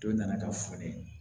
Dɔ nana ka folen